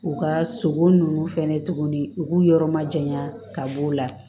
U ka sogo nunnu fɛnɛ tuguni u k'u yɔrɔ majanya ka b'o la